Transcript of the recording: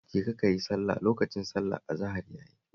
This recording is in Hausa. Jeka ka yi sallah, lokacin sallar azahar ya yi